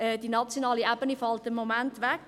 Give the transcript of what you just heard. Die nationale Ebene fällt im Moment weg.